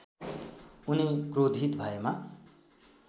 उनी क्रोधित भएमा